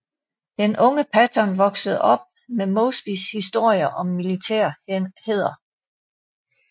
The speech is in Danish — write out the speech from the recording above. Den unge Patton voksede op med Mosbys historier om militær hæder